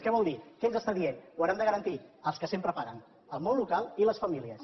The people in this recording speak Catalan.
què vol dir què ens està dient ho hauran de garantir els que sempre paguen el món local i les famílies